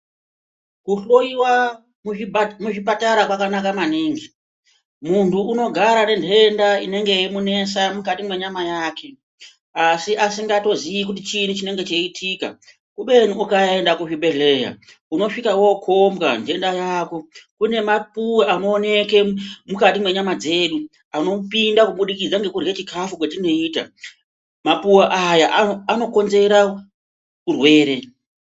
Kuhloyiwa muzvipatara kwakanaka maningi muntu unogara nentenda inenge yemunesa mukati mwenyama yake asi asingatozii kuti chinyi chinenge chichiitika, kubeni ukaenda kuzvibhedhleya unosvika wokombwa ntenda yako ,kune mapuwe anooneke mukati mwemwiri dzedu anopinda kubudikidza ngekurye chikafu kwetinoita, mapuwe aya anokonzera urwere.